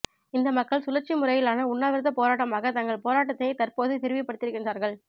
இந்த மக்கள் சுழற்சிமுறையிலான உண்ணாவிரதப் போராட்டமாக தங்கள் போராட்டத்தினை தற்போது விரிவுபடுத்தியிருக்கின்றார்கள்